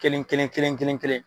Kelen kelen kelen kelen kelen.